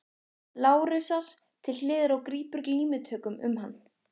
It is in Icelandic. Lárusar til hliðar og grípur glímutökum um hann.